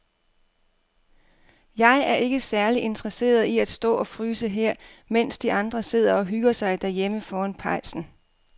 Jeg er ikke særlig interesseret i at stå og fryse her, mens de andre sidder og hygger sig derhjemme foran pejsen.